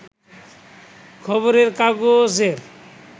খবরের কাগজের